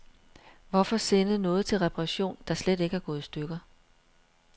Hvorfor sende noget til reparation, der slet ikke er gået i stykker.